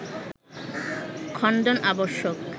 খণ্ডন আবশ্যক